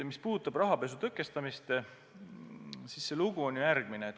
Mis puudutab rahapesu tõkestamist, siis see lugu on järgmine.